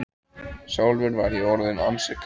Sjálfur var ég orðinn ansi kaldur.